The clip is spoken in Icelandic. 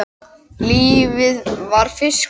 Lífið var fiskur.